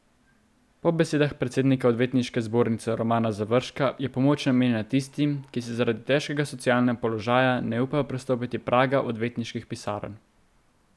Po besedah predsednika odvetniške zbornice Romana Završka je pomoč namenjena tistim, ki si zaradi težkega socialnega položaja ne upajo prestopiti praga odvetniških pisarn.